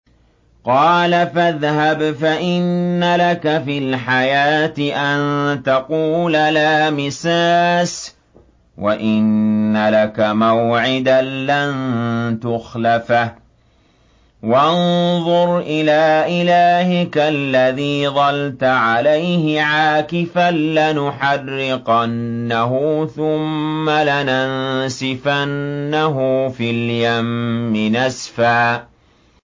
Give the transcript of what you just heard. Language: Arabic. قَالَ فَاذْهَبْ فَإِنَّ لَكَ فِي الْحَيَاةِ أَن تَقُولَ لَا مِسَاسَ ۖ وَإِنَّ لَكَ مَوْعِدًا لَّن تُخْلَفَهُ ۖ وَانظُرْ إِلَىٰ إِلَٰهِكَ الَّذِي ظَلْتَ عَلَيْهِ عَاكِفًا ۖ لَّنُحَرِّقَنَّهُ ثُمَّ لَنَنسِفَنَّهُ فِي الْيَمِّ نَسْفًا